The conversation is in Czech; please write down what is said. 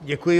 Děkuji.